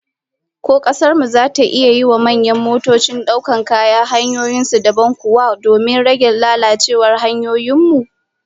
Ko kasar mu zata iya yiwa manyan motocin daukar kaya hanyoyin su dabam kuwa, domin rage lalacewar hanyoyin mu?